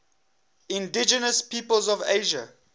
indigenous peoples of asia